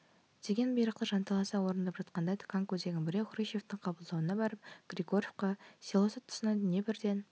деген бұйрықты жанталаса орындап жатқанда тканко деген біреу хрушевтің қабылдауына барып григоревка селосы тұсынан днепрден